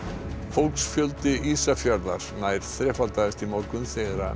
fólksfjöldi Ísafjarðar nær þrefaldaðist í morgun þegar